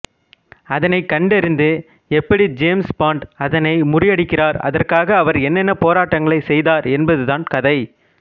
அதனை கண்டறிந்து எப்படி ஜேம்ஸ் பாண்ட் அதனை முறியடிக்கிறார் அதற்காக அவர் என்னென்ன போராட்டங்களை செய்தார் என்பது தான் கதை